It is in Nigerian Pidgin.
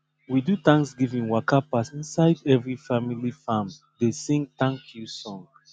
we do thanksgiving waka pass inside every family farm dey sing thank you song